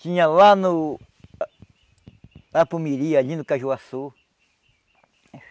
Tinha lá no... Lá para o Miri, ali no Cajuaçu.